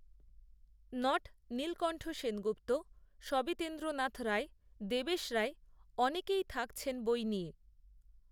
not Nilkantha Sengupta, Sabitendranath Ray, Debesh Ray অনেকেই থাকছেন বই নিয়ে